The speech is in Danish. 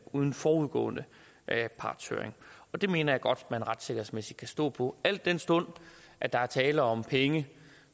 uden forudgående partshøring det mener jeg godt man retssikkerhedsmæssigt kan stå på al den stund at der er tale om penge